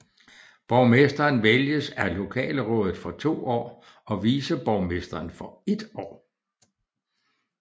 Borgmesteren vælges af lokalrådet for to år og viceborgmesteren for ét år